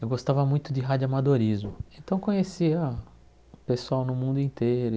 Eu gostava muito de radioamadorismo, então conhecia o pessoal no mundo inteiro e.